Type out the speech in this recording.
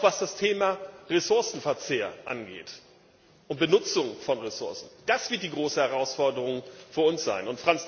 Auch was das Thema Ressourcenverzehr und Benutzung von Ressourcen angeht das wird die große Herausforderungen vor uns sein.